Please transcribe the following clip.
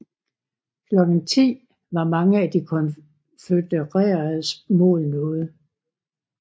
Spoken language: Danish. Klokken 10 var mange af de konfødereredes mål nået